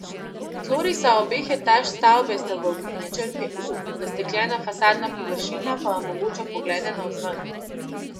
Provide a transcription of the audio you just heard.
Tlorisa obeh etaž stavbe sta v obliki črke U, zastekljena fasadna površina pa omogoča poglede navzven.